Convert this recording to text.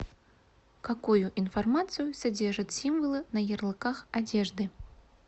какую информацию содержат символы на ярлыках одежды